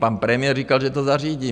Pan premiér říkal, že to zařídí.